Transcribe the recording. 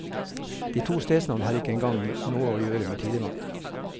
De to stedsnavn har ikke en gang noe å gjøre med tidevannet.